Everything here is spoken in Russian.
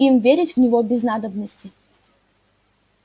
им верить в него без надобности